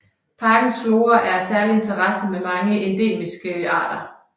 Parkens flora er af særlig interesse med mange endemiske arter